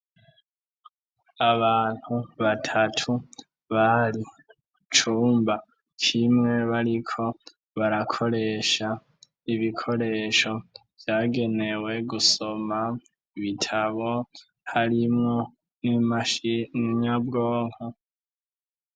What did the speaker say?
Abantu batatu bari cumba kimwe bariko barakoresha ibikoresho vyagenewe gusoma ibitabo harimwo n'imashi y'inyabwonko